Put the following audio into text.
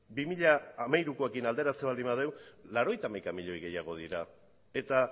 bi mila hamairukoarekin alderatzen baldin badugu laurogeita hamaika milioi gehiago dira eta